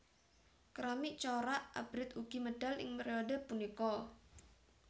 Keramik corak abrit ugi medal ing periode punika